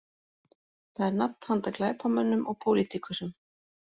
Það er nafn handa glæpamönnum og pólitíkusum